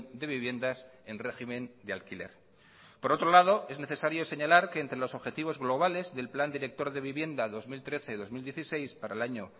de viviendas en régimen de alquiler por otro lado es necesario señalar que entre los objetivos globales del plan director de vivienda dos mil trece dos mil dieciséis para el año